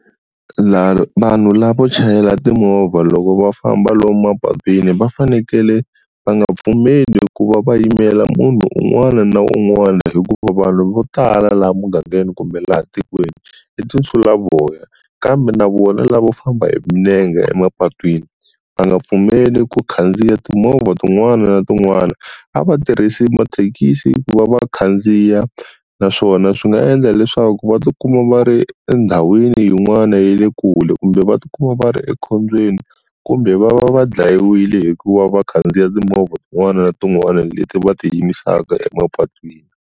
vanhu lavo chayela timovha loko va famba lomu mapatwini va fanekele va nga pfumeli ku va va yimela munhu un'wana na un'wana hikuva vanhu vo tala laha mugangeni kumbe laha tikweni i tinsulavoya kambe na vona lavo famba hi milenge emapatwini va nga pfumeli ku khandziya timovha tin'wana na tin'wana a va tirhisi mathekisi ku va va khandziya naswona swi nga endla leswaku va ti kuma va ri endhawini yin'wana ya le kule kumbe va ti kuma va ri ekhombyeni kumbe va va va dlhayiwile hikuva va khandziya timovha tin'wana na tin'wana leti va ti yimisaka emapatwini.